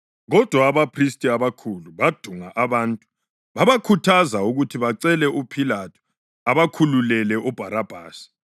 Kodwa abaphristi abakhulu badunga abantu babakhuthaza ukuthi bacele uPhilathu abakhululele uBharabhasi.